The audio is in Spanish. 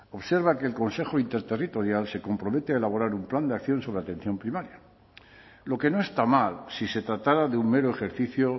observa que el consejo interterritorial se compromete a elaborar un plan de acción sobre atención primaria lo que no está mal si se tratara de un mero ejercicio